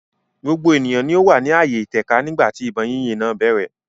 gbogbo ènìyàn ni ó wà ní ààyè ìtẹ̀ka nígbà tí ìbọn yínyìn náà bẹ̀rẹ̀.